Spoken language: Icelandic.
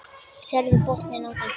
Sérðu botninn á þeim.